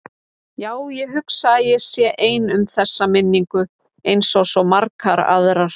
Já, ég hugsa að ég sé ein um þessa minningu einsog svo margar aðrar.